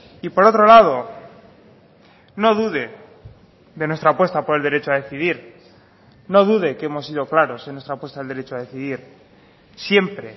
y por otro lado no dude de nuestra apuesta por el derecho a decidir no dude que hemos sido claros en nuestra apuesta del derecho a decidir siempre